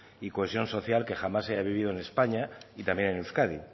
y cohesión social que jamás se haya vivido en españa y también en euskadi